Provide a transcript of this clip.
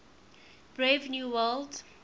brave new world